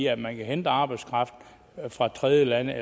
at man kan hente arbejdskraft fra tredjelande